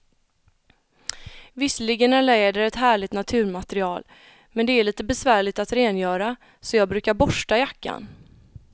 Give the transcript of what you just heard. Visserligen är läder ett härligt naturmaterial, men det är lite besvärligt att rengöra, så jag brukar borsta jackan.